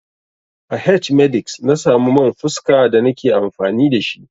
A h-medix na samu man fuska da na ke amfani da shi.